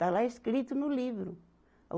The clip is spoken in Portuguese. Está lá escrito no livro. o